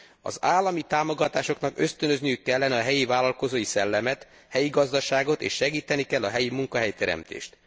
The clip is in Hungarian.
Az állami támogatásoknak ösztönözniük kellene a helyi vállalkozói szellemet, a helyi gazdaságot és segíteni kell a helyi munkahelyteremtést.